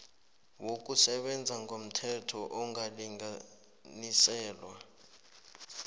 wokusebenza ngomthetho angalinganiselwa